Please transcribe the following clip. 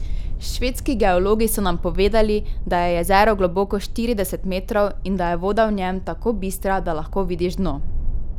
Švedski geologi so nam povedali, da je jezero globoko štirideset metrov in da je voda v njem tako bistra, da lahko vidiš dno.